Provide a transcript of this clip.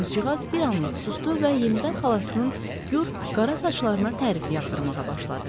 Qızcığaz bir anlıq susdu və yenidən xalasının gür qara saçlarına tərif yağdırmağa başladı.